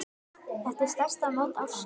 Þetta er stærsta mót ársins.